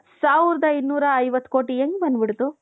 ಸಾವಿರದ ಇನ್ನೂರ ಐವತ್ತು ಕೋಟಿ ಹೆಂಗ್ ಬಂದ್ಬಿಡ್ತು?